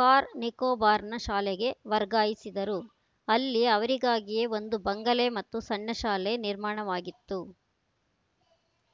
car ನಿಕೋಬಾರ್‌ನ ಶಾಲೆಗೆ ವರ್ಗಾಯಿಸಿದರು ಅಲ್ಲಿ ಅವರಿಗಾಗಿಯೇ ಒಂದು ಬಂಗಲೆ ಮತ್ತು ಸಣ್ಣ ಶಾಲೆ ನಿರ್ಮಾಣವಾಗಿತ್ತು